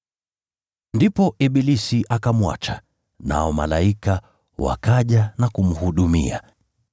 Ndipo ibilisi akamwacha, nao malaika wakaja na kumhudumia.